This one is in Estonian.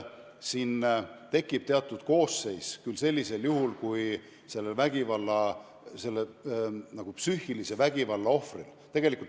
Siin tekib küll samasugune teatud süüteokoosseis kui psüühilise vägivalla ohvri puhul.